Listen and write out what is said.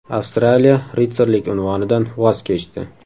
Avstraliya ritsarlik unvonidan voz kechdi.